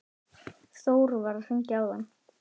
Þór var að hringja áðan.